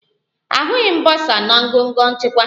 Ahụghị m bọsa na ngọngọ nchịkwa